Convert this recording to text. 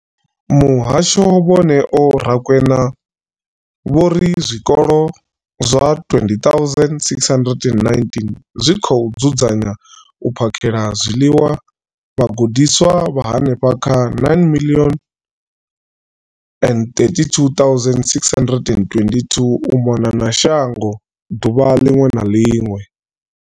Muhasho, vho Neo Rakwena, vho ri zwikolo zwa 20 619 zwi dzudzanya na u phakhela zwiḽiwa vhagudiswa vha henefha kha 9 032 622 u mona na shango ḓuvha ḽiṅwe na ḽiṅwe.